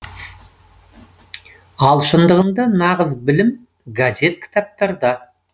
ал шындығында нағыз білім газет кітаптарда